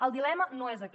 el dilema no és aquest